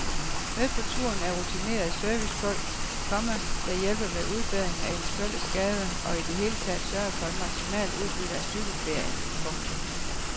Med på turen er rutinerede servicefolk, komma der hjælper med udbedring af eventuelle skader og i det hele taget sørger for et maksimalt udbytte af cykelferien. punktum